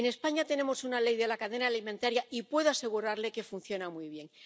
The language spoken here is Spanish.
En España tenemos una ley de la cadena alimentaria y puedo asegurarle que funciona muy bien.